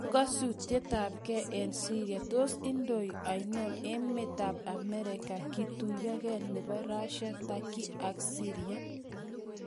Ng'usetabge eng Syria:Tos indoi ano emetab Amerika kotuiyetabge nebo Russia , Turkey ak Syria ?